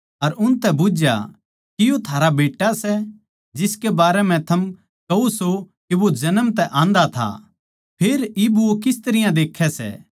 अर उनतै बुझ्झया के यो थारा बेट्टा सै जिसके बारें मै थम कह्या सों के वो जन्म तै आन्धा था फेर इब वो किस तरियां देक्खै सै